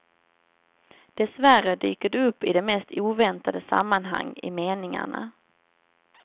Dessvärre dyker det upp i de mest oväntade sammanhang i meningarna.